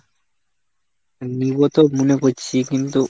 নিবো তো মনে করছি কিন্তু,